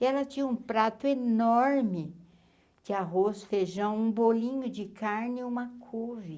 E ela tinha um prato enorme de arroz, feijão, um bolinho de carne e uma couve.